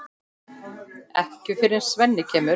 Ekki fyrr en Svenni kemur.